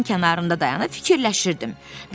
Çayın kənarında dayanıb fikirləşirdim.